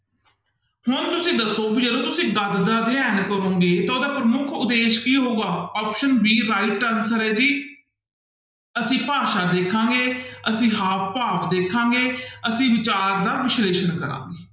ਹੁਣ ਤੁਸੀਂ ਦੱਸੋ ਵੀ ਜਦੋਂ ਤੁਸੀਂ ਗਦ ਦਾ ਅਧਿਐਨ ਕਰੋਂਗੇ ਤਾਂ ਉਹਦਾ ਪ੍ਰਮੁੱਖ ਉਦੇਸ਼ ਕੀ ਹੋਊਗਾ option b right answer ਹੈ ਜੀ ਅਸੀਂ ਭਾਸ਼ਾ ਦੇਖਾਂਗਾ, ਅਸੀਂ ਹਾਵ ਭਾਵ ਦੇਖਾਂਗੇ, ਅਸੀਂ ਵਿਚਾਰ ਦਾ ਵਿਸ਼ਲੇਸ਼ਣ ਕਰਾਂਗੇ।